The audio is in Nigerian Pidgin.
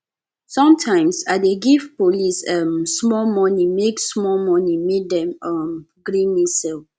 sometimes i dey give police um small moni make small moni make dem um gree me sell